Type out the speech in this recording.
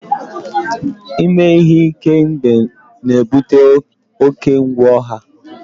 Ime ihe ike egbe na-ebute oke egwu ọha